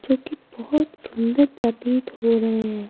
जो कि बहुत सुंदर प्रतीत हो रहे हैं।